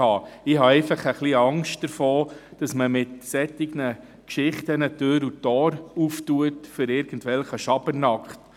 Ich habe einfach ein bisschen Angst davor, dass man mit solchen Geschichten Tür und Tor öffnet für irgendwelchen Schabernack.